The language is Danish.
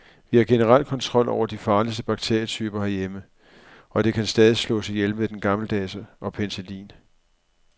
Vi har generelt kontrol over de farligste bakterietyper herhjemme, og de kan stadig slås ihjel med den gammeldags og penicillin.